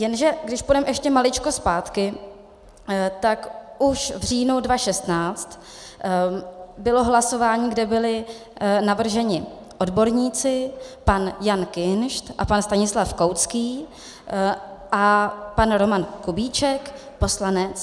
Jenže když půjdeme ještě maličko zpátky, tak už v říjnu 2016 bylo hlasování, kde byli navrženi odborníci, pan Jan Kinšt a pan Stanislav Koucký a pan Roman Kubíček, poslanec.